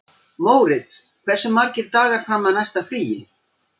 Mórits, hversu margir dagar fram að næsta fríi?